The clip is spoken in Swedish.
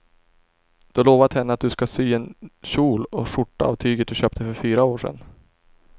Du har lovat henne att du ska sy en kjol och skjorta av tyget du köpte för fyra år sedan.